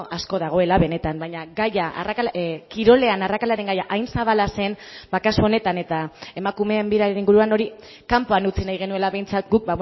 asko dagoela benetan baina gaia kirolean arrakalaren gaia hain zabala zen kasu honetan eta emakumeen biraren inguruan hori kanpoan utzi nahi genuela behintzat guk